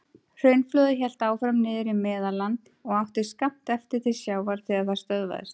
Hraunflóðið hélt áfram niður í Meðalland og átti skammt eftir til sjávar þegar það stöðvaðist.